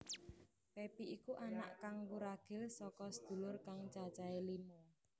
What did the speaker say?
Pepi iku anak kang wuragil saka sedulur kang cacahe lima